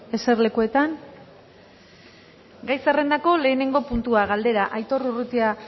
eserlekuetan gai zerrendako lehenengo puntua galdera aitor urrutia